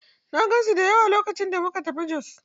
I saw many of them when we traveled to Jos.